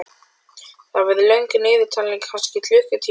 Það verður löng niðurtalning, kannski klukkutími eða meira.